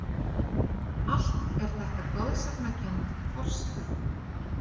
Allt er þetta goðsagnakennd forsaga.